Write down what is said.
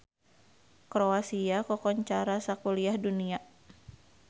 Kroasia kakoncara sakuliah dunya